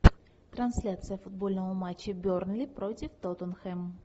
трансляция футбольного матча бернли против тоттенхэм